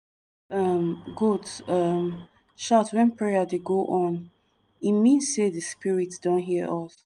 um goat um shout wen prayer dey go on e mean say di spirit don hear us.